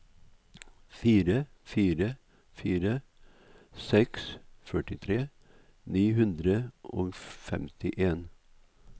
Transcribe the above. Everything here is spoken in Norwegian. fire fire fire seks førtifire ni hundre og femtien